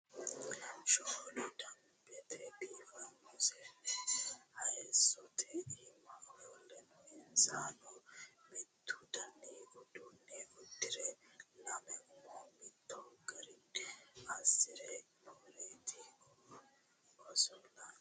Shoole damibete biifano seeni hayisotte iimma ofolle noo. insano mittu Dani uddune uddirre lamme umo mitto Garra asirre nooretti osolanni noo